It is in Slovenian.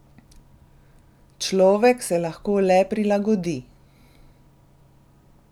Človek se lahko le prilagodi.